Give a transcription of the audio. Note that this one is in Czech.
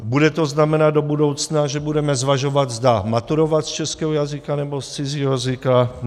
Bude to znamenat do budoucna, že budeme zvažovat, zda maturovat z českého jazyka nebo z cizího jazyka?